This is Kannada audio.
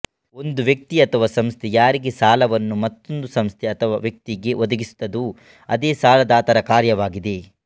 ಒಂದು ವ್ಯಕ್ತಿ ಅಥವಾ ಸಂಸ್ಥೆ ಯಾರಿಗೆ ಸಾಲವನ್ನು ಮತ್ತೊಂದು ಸಂಸ್ಥೆ ಅಥವಾ ವ್ಯಕ್ತಿಗೆ ಒದಗಿಸುತ್ತದೊ ಅದ್ದೆ ಸಾಲದಾತರ ಕಾರ್ಯವಾಗಿದ್ದೆ